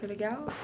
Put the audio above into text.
Foi legal?